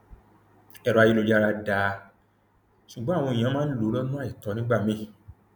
èrò ayélujára dáa ṣùgbọn àwọn èèyàn máa ń lò lọnà àìtọ nígbà míín